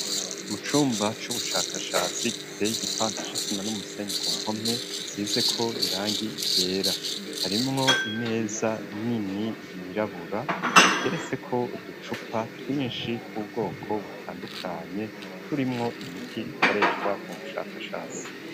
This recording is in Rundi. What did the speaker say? Mu cumba c'ubushakashasi giteye igipande c'isima n'umusenyi ku mpome isize ko irangi ryera harimwo imeza nini yirabura iteretseko uducupa twishi tw'ubwoko butandukanye turimwo imiti ikoreshwa mu bushakashatsi.